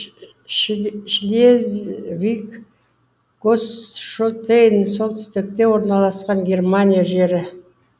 шлезвиг гоосьштейн солтүстікте орналақан германия жері